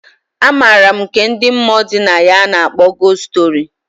A maram nke ndi mmụọ dị na ya a na akpọ gost story.